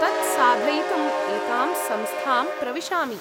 तत् साधयितुम् एकां संस्थां प्रविशामि।